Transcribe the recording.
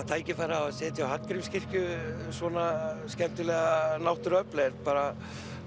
tækifæri að setja á Hallgrímskirkju svona skemmtilega náttúruöfl er bara